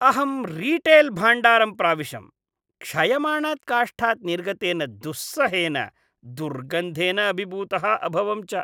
अहं रीटेल् भाण्डारं प्राविशम्, क्षयमाणात् काष्ठात् निर्गतेन दुस्सहेन दुर्गन्धेन अभिभूतः अभवं च।